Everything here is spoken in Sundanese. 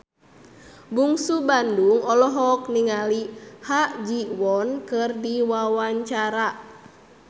Bungsu Bandung olohok ningali Ha Ji Won keur diwawancara